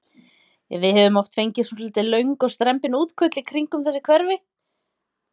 Við höfum oft fengið svolítið löng og strembin útköll í kringum þessi hverfi?